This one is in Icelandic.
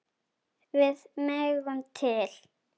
Við megum til.